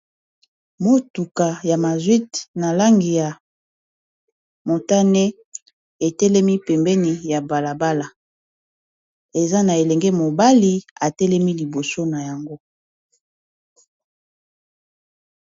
Motuka ya mazwite na langi ya motane etelemi pembeni ya balabala eza na elenge mobali atelemi liboso na yango.